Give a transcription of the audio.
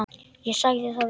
Ég sagði það víst.